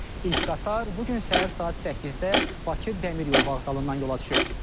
İlk qatar bu gün səhər saat 8-də Bakı Dəmiryol Vağzalından yola düşüb.